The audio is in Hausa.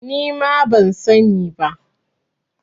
Nima ban sani ba.